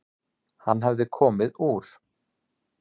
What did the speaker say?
Hann hafði komið úr